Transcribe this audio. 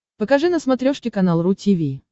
покажи на смотрешке канал ру ти ви